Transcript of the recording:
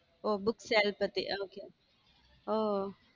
ஓ book sale பத்தி okay ஓ